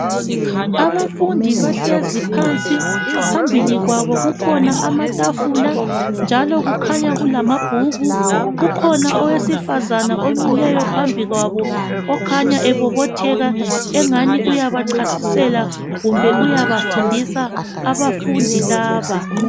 Abafundi bahlezi phansi phambili kwabo kukhona amatafula njalo kukhanya kulamabhuku, kukhona owesifazana omi phambi kwabo ongani uyabachasisela ongani uyabafundisa abafundi laba